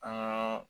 An ka